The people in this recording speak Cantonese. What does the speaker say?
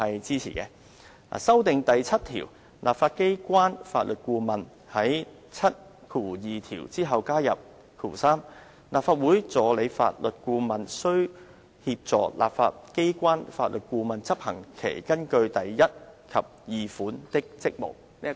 至於修訂第7條的建議，則是在第72條之後加入 "3 立法會助理法律顧問須協助立法機關法律顧問執行其根據第1及2款的職務。